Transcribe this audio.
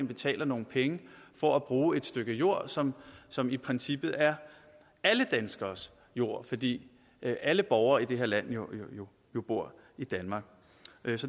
betaler nogle penge for at bruge et stykke jord som som i princippet er alle danskeres jord fordi alle borgere i det her land jo bor i danmark